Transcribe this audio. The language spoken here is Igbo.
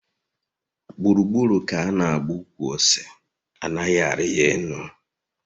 Gburu gburu ka ana agba ukwu ose anaghi ari ya elu